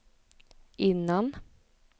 innan